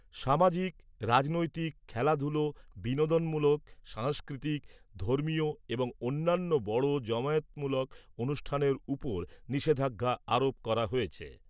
সামাজিক , রাজনৈতিক , খেলাধূলা , বিনোদনমূলক সাংস্কৃতিক , ধর্মীয় এবং অন্যান্য বড় জমায়েতমূলক অনুষ্ঠানের উপর নিষেধাজ্ঞা আরোপ করা হয়েছে ।